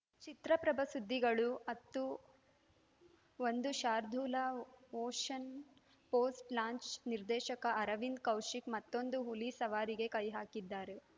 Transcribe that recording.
ಚಿತ್ರಪ್ರಭ ಸುದ್ದಿಗಳು ಹತ್ತು ಒಂದು ಶಾರ್ದೂಲ ಮೋಷನ್‌ ಪೋಸ್ಟಲಾಂಚ್‌ ನಿರ್ದೇಶಕ ಅರವಿಂದ್‌ ಕೌಶಿಕ್‌ ಮತ್ತೊಂದು ಹುಲಿ ಸವಾರಿಗೆ ಕೈ ಹಾಕಿದ್ದಾರೆ